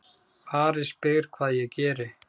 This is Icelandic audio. Ari spyr hvað ég geri.